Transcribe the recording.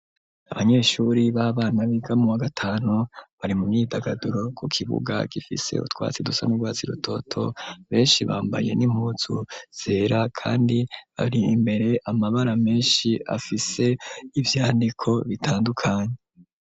Abanyeshuri b'abana b'igamuwa gatanu bari mu myidagaduro ku kibuga gifise utwatsi dusame rwatsi rutoto benshi bambaye n'impuzu zera, kandi bari imbere amabara menshi afise ivyandiko bitandukanye.